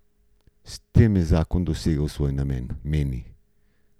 S tem je zakon dosegel svoj namen, meni.